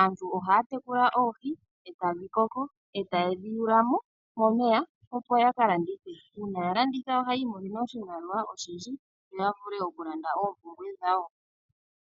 Aantu ohaya tekula oohi e ta dhi koko, e ta ye dhi yula mo momeya, opo yaka landithe. Uuna ya landitha ohayi imonene oshimaliwa oshindji, yo ya vule oku landa oompumbwe dhawo.